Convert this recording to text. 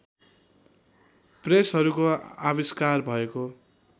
प्रेसहरूको आविष्कार भएको